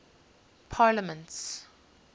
parliaments